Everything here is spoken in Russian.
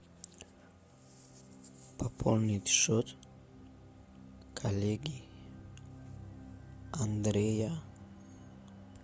пополнить счет коллеги андрея